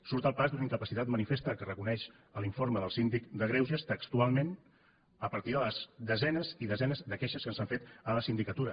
surt al pas d’una incapacitat manifesta que reconeix l’informe del síndic de greuges textualment a partir de les desenes i desenes de queixes que s’han fet a la sindicatura